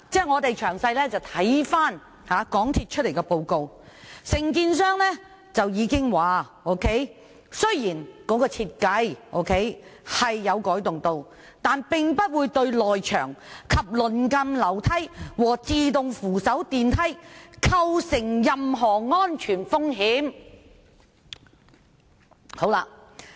我們詳細閱讀港鐵公司的報告，當中承建商已經指出，設計雖然有改動，但不會對內牆及鄰近樓梯和自動扶手電梯構成任何安全風險。